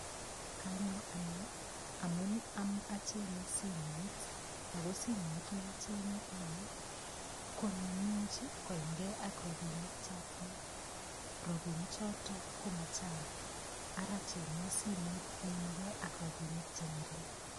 Kanyo ane amun achenye simoit ako simoit nachenye ane ko nemuuch koimgei ak robinik chatinye robinichoto komachang' ara cheng'wo simoit neimegei ak robinik cheng'ering'